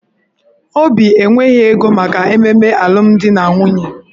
Obi enweghị ego maka ememe alụmdi na nwunye